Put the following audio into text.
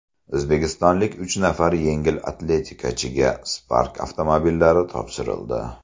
O‘zbekistonlik uch nafar yengil atletikachiga Spark avtomobillari topshirildi.